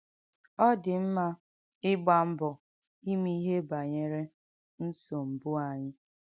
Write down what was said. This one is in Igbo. Ọ dị̀ m̀mà ìgbà m̀bọ̀ ìmè ìhé bànyerè ǹsọ̀m̀bụ̀ ányị.